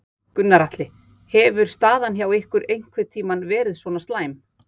Gunnar Atli: Hefur staðan hjá ykkur einhvern tímann verið svona slæm?